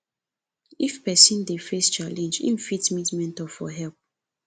if person dey face challenge im fit meet mentor for help